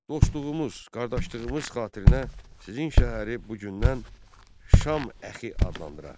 Dostluğumuz, qardaşlığımız xatirinə sizin şəhəri bu gündən Şam əxi adlandıraq.